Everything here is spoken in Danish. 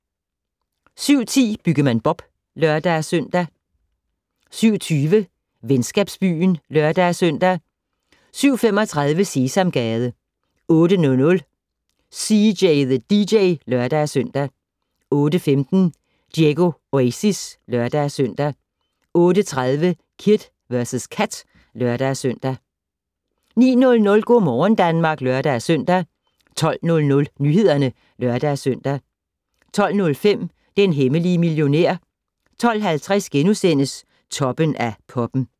07:10: Byggemand Bob (lør-søn) 07:20: Venskabsbyen (lør-søn) 07:35: Sesamgade 08:00: CJ the DJ (lør-søn) 08:15: Diego Oasis (lør-søn) 08:30: Kid vs Kat (lør-søn) 09:00: Go' morgen Danmark (lør-søn) 12:00: Nyhederne (lør-søn) 12:05: Den hemmelige millionær 12:50: Toppen af poppen *